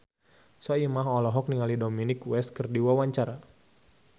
Soimah olohok ningali Dominic West keur diwawancara